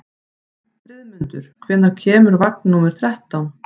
Friðmundur, hvenær kemur vagn númer þrettán?